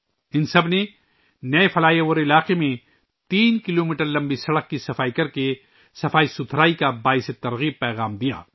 ان سب نے نئے فلائی اوور کے علاقے میں تین کلو میٹر طویل سڑک کی صفائی کرکے صفائی کا تحریکی پیغام دیا